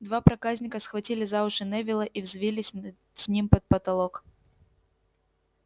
два проказника схватили за уши невилла и взвились э с ним под потолок